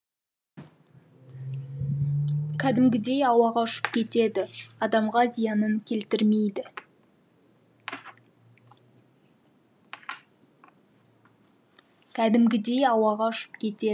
кәдімгідей ауаға ұшып кетеді адамға зиянын келтірмейді